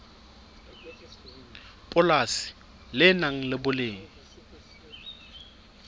polasi le nang le boleng